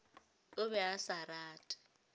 o be a sa rate